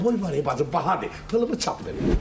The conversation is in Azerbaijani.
Oboy var bacım, bahadır, pulunu çatdırın.